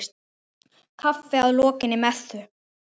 Kaffi að lokinni messu.